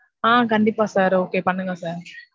ஆஹ் கண்டிப்பா sir okay பண்ணுங்க sir.